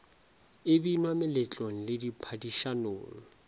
e binwa meletlong le diphadišanong